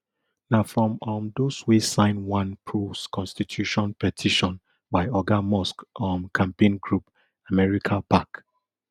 na from um those wey sign one prous constitution petition by oga musk um campaign group americapac